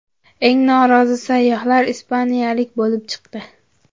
Eng norozi sayyohlar ispaniyaliklar bo‘lib chiqdi.